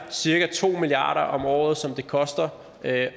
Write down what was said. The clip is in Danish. cirka to milliard kroner om året som det koster at